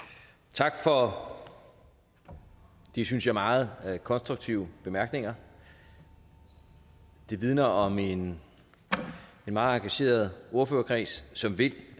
tak for de synes jeg meget konstruktive bemærkninger de vidner om en meget engageret ordførerkreds som vil